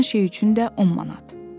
Filan şey üçün də 10 manat.